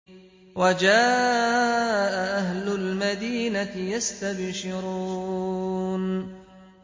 وَجَاءَ أَهْلُ الْمَدِينَةِ يَسْتَبْشِرُونَ